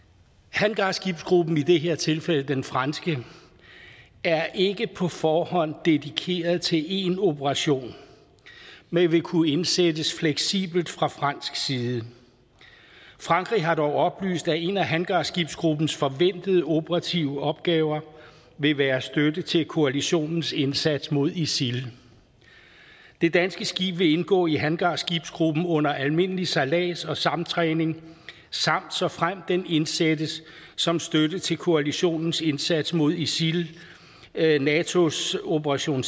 hangarskibsgruppen i det her tilfælde den franske er ikke på forhånd dedikeret til én operation men vil kunne indsættes fleksibelt fra fransk side frankrig har dog oplyst at en af hangarskibsgruppens forventede operative opgaver vil være støtte til koalitionens indsats mod isil det danske skib vil indgå i hangarskibsgruppen under almindelig sejlads og samtræning samt såfremt den indsættes som støtte til koalitionens indsats mod isil natos operation